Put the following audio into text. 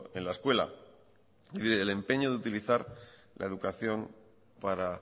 en la escuela y del empeño de utilizar la educación para